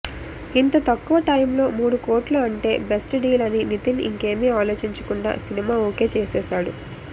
ఇంత తక్కువ టైమ్లో మూడు కోట్లు అంటే బెస్ట్ డీల్ అని నితిన్ ఇంకేమీ ఆలోచించకుండా సినిమా ఓకే చేసేసాడు